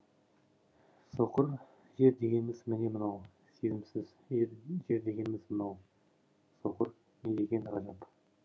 соқыр жер дегеніміз міне мынау сезімсіз жер дегеніміз мынау соқыр недеген ғажап